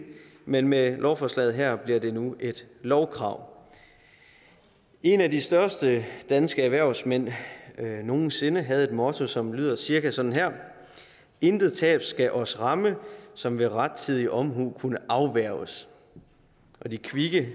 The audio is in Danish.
men med lovforslaget her bliver det nu et lovkrav en af de største danske erhvervsmænd nogen sinde havde et motto som lyder cirka sådan her intet tab skal os ramme som ved rettidig omhu kunne afværges de kvikke i